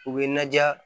U bɛ na diya